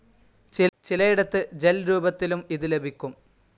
ചിലയിടത്ത് ഗെൽ രൂപത്തിലും ഇത് ലഭിക്കും.